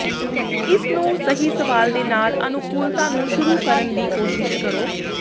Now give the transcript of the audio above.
ਇਸ ਨੂੰ ਸਹੀ ਸਵਾਲ ਦੇ ਨਾਲ ਅਨੁਕੂਲਤਾ ਨੂੰ ਸ਼ੁਰੂ ਕਰਨ ਦੀ ਕੋਸ਼ਿਸ਼ ਕਰੋ